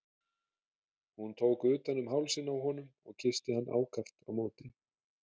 Hún tók utan um hálsinn á honum og kyssti hann ákaft á móti.